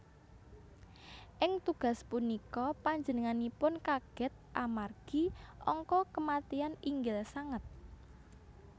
Ing tugas punika panjenenganipun kaget amargi angka kematian inggil sanget